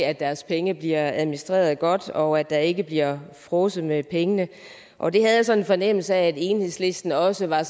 at deres penge bliver administreret godt og at der ikke bliver fråset med pengene og det havde jeg sådan en fornemmelse af at enhedslisten også var